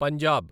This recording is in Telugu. పంజాబ్